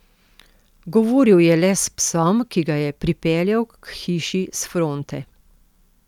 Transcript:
Govoril je le s psom, ki ga je pripeljal k hiši s fronte.